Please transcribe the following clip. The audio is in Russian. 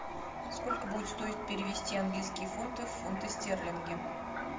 сколько будет стоить перевести английские фунты в фунты стерлинги